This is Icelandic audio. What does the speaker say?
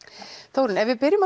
Þórunn ef við byrjum á